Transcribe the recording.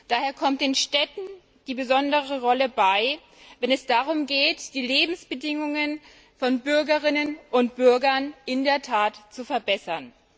Daher kommt den Städten eine besondere Rolle zu, wenn es darum geht, die Lebensbedingungen von Bürgerinnen und Bürgern in der Tat zu verbessern.